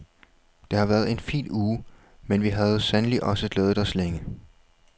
Det havde været en fin uge, men vi havde sandelig også glædet os længe.